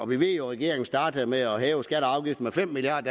ved jo at regeringen startede med at hæve skatter og afgifter med fem milliard